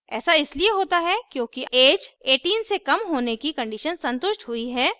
ऐसा इसलिए होता है क्योंकि ऐज 18 से कम होने की condition संतुष्ट हुई है